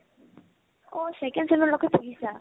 অ, second চেম লৈকে পঢ়িছা